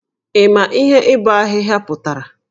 Ị ma ihe ibọ ahịhịa pụtara?